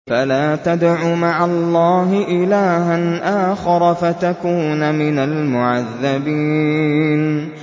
فَلَا تَدْعُ مَعَ اللَّهِ إِلَٰهًا آخَرَ فَتَكُونَ مِنَ الْمُعَذَّبِينَ